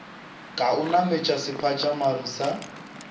ka o nametše sephatšamaru sa